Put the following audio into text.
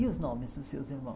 E os nomes dos seus